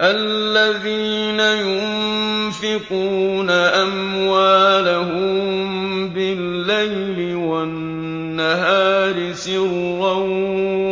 الَّذِينَ يُنفِقُونَ أَمْوَالَهُم بِاللَّيْلِ وَالنَّهَارِ سِرًّا